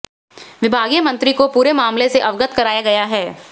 विभागीय मंत्री को पूरे मामले से अवगत कराया गया है